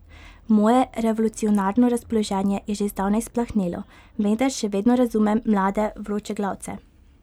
Moje revolucionarno razpoloženje je že zdavnaj splahnelo, vendar še vedno razumem mlade vročeglavce.